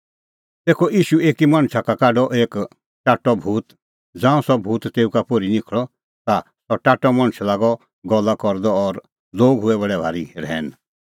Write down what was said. तेखअ ईशू एकी मणछा का काढअ एक टाट्टअ भूत ज़ांऊं सह भूत तेऊ का पोर्ही निखल़अ ता सह टाट्टअ मणछ लागअ गल्ला करदअ और लोग हुऐ बडै भारी रहैन